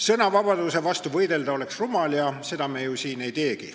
Sõnavabaduse vastu oleks rumal võidelda ja seda me siin ei teegi.